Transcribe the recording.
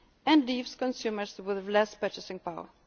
less competitive and leaves consumers with less purchasing